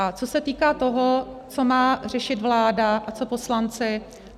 A co se týká toho, co má řešit vláda a co poslanci.